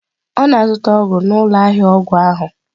Ọ na-azụta ọgwụ n'ụlọ ahịa ọgwụ ahụ.